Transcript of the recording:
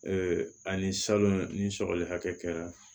ani salon ni sɔgɔli hakɛ kɛra